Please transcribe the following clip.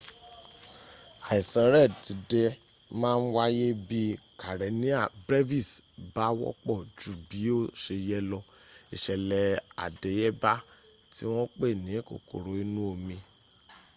àìsàn red tide ma ń wáyé bí̀ karenia brevis bá wọ́pọ̀ ju bí ó se yẹ lọ ìṣẹ̀lẹ̀ àdéyébá tí wọ́n pè ní kòkòrò inú omi